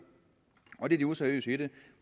og det er det useriøse i det